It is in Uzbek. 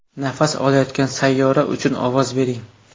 Nafas olayotgan sayyora uchun ovoz bering.